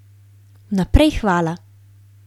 Vnaprej hvala!